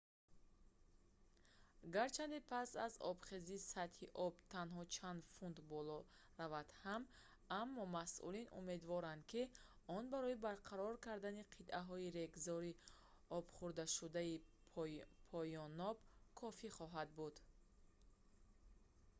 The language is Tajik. гарчанде пас аз обхезӣ сатҳи об танҳо чанд фут боло равад ҳам аммо масъулин умедворанд ки он барои барқарор кардани қитъаҳои регзори обхӯрдашудаи поёноб кофӣ хоҳад буд